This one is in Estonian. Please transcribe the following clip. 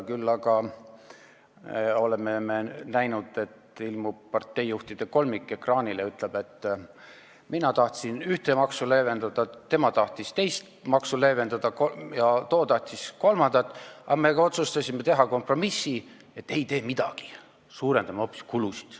Küll aga oleme näinud, et ilmub parteijuhtide kolmik ekraanile, ütleb, et mina tahtsin ühte maksu leevendada, tema tahtis teist maksu leevendada ja too tahtis kolmandat, aga me otsustasime teha kompromissi, et ei tee midagi, suurendame hoopis kulusid.